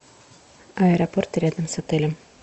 аэропорт рядом с отелем